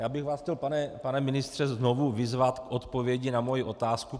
Já bych vás chtěl, pane ministře, znovu vyzvat k odpovědi na moji otázku.